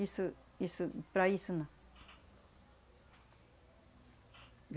Isso... isso... para isso não.